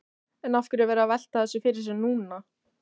En af hverju að vera að velta þessu fyrir sér núna?